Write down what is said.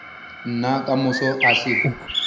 nna ka moso a se